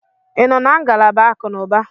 Ị nọ na ngalaba akụnụba?